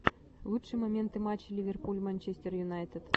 лучшие моменты матча ливерпуль манчестер юнайтед